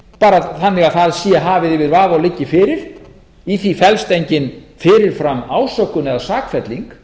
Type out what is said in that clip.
bara þannig að það sé hafið yfir vafa og liggi fyrir í því felst engin fyrirfram ásökun eða sakfelling